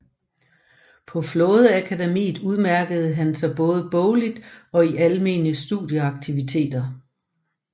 På flådeakademiet udmærkede han sig både bogligt og i almene studenteraktiviteter